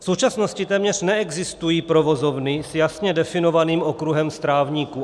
V současnosti téměř neexistují provozovny s jasně definovaným okruhem strávníků.